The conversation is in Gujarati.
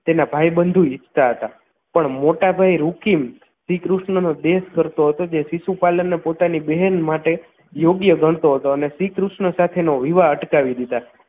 તેના ભાઈબંધો ઇચ્છતા હતા પણ મોટાભાઈ રુકીમ શ્રીકૃષ્ણનો દ્વેષ કરતો હતો જે શીસુપાલની પોતાની બહેન માટે યોગ્ય ગણતો હતો અને શ્રીકૃષ્ણ સાથે નો વિવાહ અટકાવી દીધા